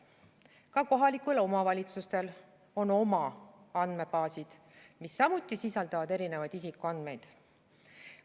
Ka kohalikel omavalitsustel on oma andmebaasid, mis samuti sisaldavad erinevaid isikuandmeid.